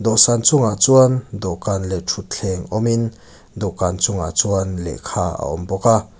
dawh san chungah chuan dawhkan leh thuthleng awm in dawhkan chungah chuan lekha a awm bawk a.